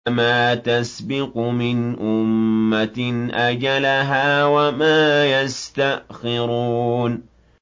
مَا تَسْبِقُ مِنْ أُمَّةٍ أَجَلَهَا وَمَا يَسْتَأْخِرُونَ